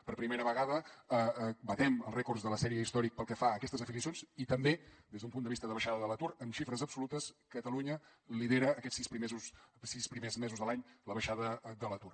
per primera vegada batem els rècords de la sèrie històrica pel que fa a aquestes afiliacions i també des d’un punt de vista de baixada de l’atur en xifres absolutes catalunya lidera aquests sis primers mesos de l’any la baixada de l’atur